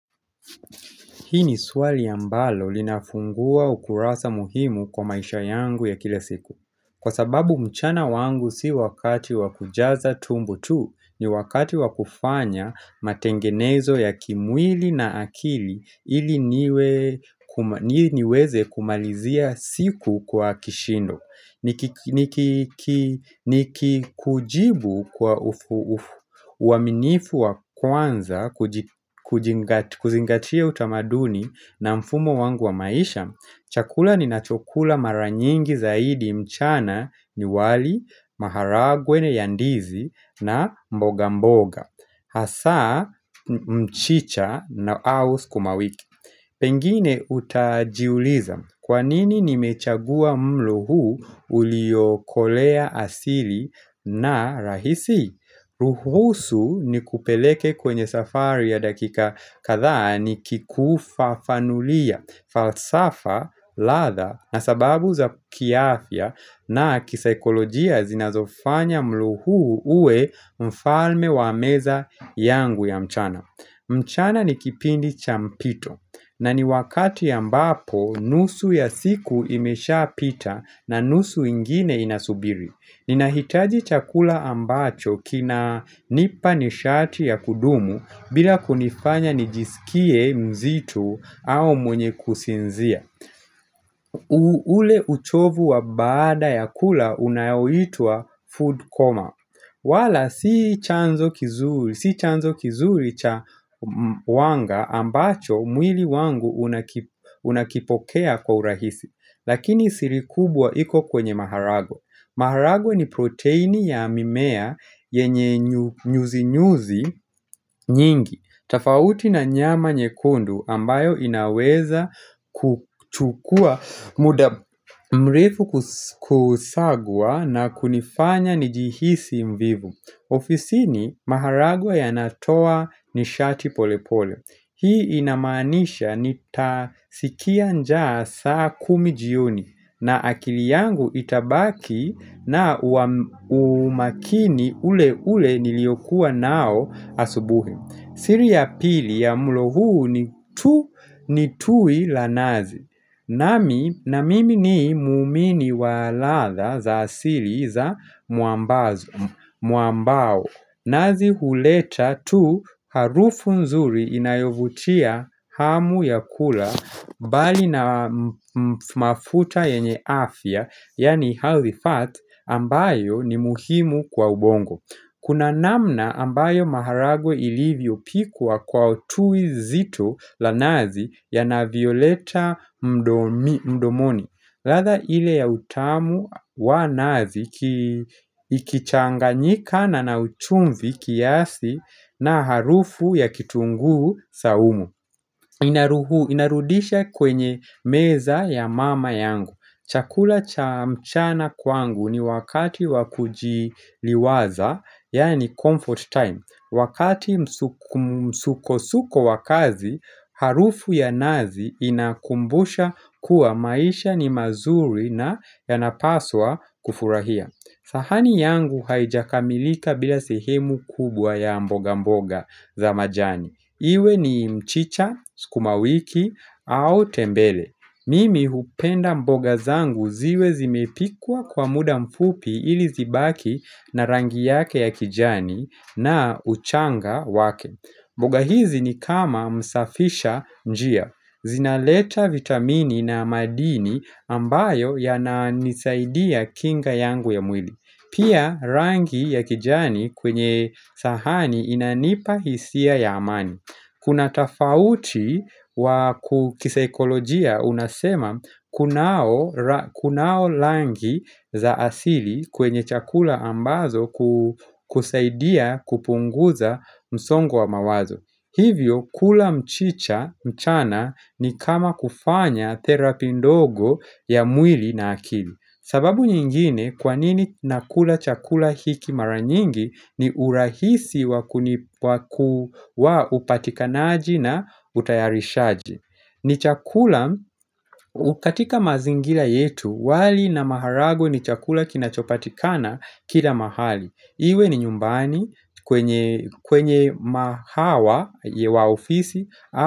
Hii ni swali ambalo linafungua ukurasa muhimu kwa maisha yangu ya kila siku. Kwa sababu mchana wangu si wakati wa kujaza tumbo tu, ni wakati wa kufanya matengenezo ya kimwili na akili ili niweze kumalizia siku kwa kishindo. Nikikujibu kwa uaminifu wa kwanza kuzingatia utamaduni na mfumo wangu wa maisha Chakula ninacho kula mara nyingi zaidi mchana ni wali, maharagwe ya ndizi na mboga mboga Hasa mchicha na au sukumawiki Pengine utajiuliza, kwa nini nimechagua mlo huu uliokolea asili na rahisi? Ruhusu nikupeleke kwenye safari ya dakika katha nikikufafanulia, falsafa, latha na sababu za kiafya na kisikolojia zinazofanya mlo huu uwe mfalme wa meza yangu ya mchana. Mchana ni kipindi cha mpito na ni wakati ambapo nusu ya siku imesha pita na nusu ingine inasubiri. Ninahitaji chakula ambacho kinanipa nishati ya kudumu bila kunifanya nijisikie mzito au mwenye kusinzia. Ule uchovu wa baada ya kula unaoitwa food coma. Wala si chanzo kizuri cha wanga ambacho mwili wangu unakipokea kwa urahisi, lakini siri kubwa iko kwenye maharagwe. Maharagwe ni proteini ya mimea yenye nyuzi nyuzi nyingi tofauti na nyama nyekundu ambayo inaweza kuchukua muda mrefu kusagwaa na kunifanya njihisi mvivu ofisini maharagwe yanatoa nishati polepole Hii inamanisha nitasikia njaa saa kumi jioni na akili yangu itabaki na umakini ule ule niliyokuwa nao asubuhi siri ya pili ya mlo huu ni tui la nazi nami na mimi ni muumini wa latha za asili za mwambazo Mwambao nazi huleta tu harufu nzuri inayovutia hamu ya kula mbali na mafuta yenye afya Yaani healthy fat ambayo ni muhimu kwa ubongo Kuna namna ambayo maharagwe ilivyo pikwa Kwa tui zito la nazi Yanavyoleta mdomoni latha ile ya utamu wa nazi Ikichanganyikana na uchumvi kiasi na harufu ya kitunguu saumu Inaruhu, inarudisha kwenye meza ya mama yangu Chakula cha mchana kwangu ni wakati wa kujiliwaza, yaani comfort time Wakati msukosuko wa kazi, harufu ya nazi inakumbusha kuwa maisha ni mazuri na yanapaswa kufurahia sahani yangu haijakamilika bila sehemu kubwa ya mboga-mboga za majani Iwe ni mchicha, sukumawiki, au tembele. Mimi hupenda mboga zangu ziwe zimepikwa kwa muda mfupi ili zibaki na rangi yake ya kijani na uchanga wake. Mboga hizi ni kama msafisha njia. Zinaleta vitamini na madini ambayo yananisaidia kinga yangu ya mwili. Pia rangi ya kijani kwenye sahani inanipa hisia ya amani. Kuna tofauti wa kisaikolojia unasema kunao rangi za asili kwenye chakula ambazo kusaidia kupunguza msongo wa mawazo. Hivyo, kula mchicha mchana ni kama kufanya therapy ndogo ya mwili na akili. Sababu nyingine, kwa nini nakula chakula hiki mara nyingi ni urahisi wa upatikanaji na utayarishaji. Ni chakula, katika mazingira yetu, wali na maharagwe ni chakula kinachopatikana kila mahali. Iwe ni nyumbani kwenye mahawa wa ofisi.